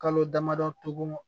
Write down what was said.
Kalo damadɔ tugun